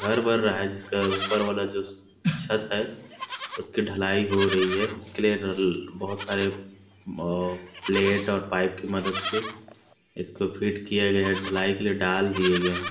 घर बन रहा है जिसका ऊपर वाला जो छत है उस की ढलाई हो रही है उस के लिए रल बहुत सारे प्लेट और पाईप की मदद से इस को फिट किया गया है ढलाई के लिए दाल दिय गए है।